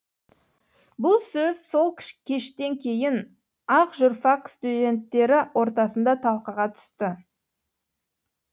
бұл сөз сол кештен кейін ақ журфак студенттері ортасында талқыға түсті